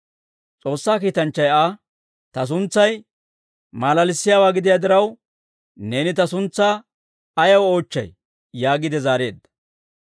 S'oossaa kiitanchchay Aa, «Ta suntsay malaalissiyaawaa gidiyaa diraw, neeni ta suntsaa ayaw oochchay?» yaagiide zaareedda.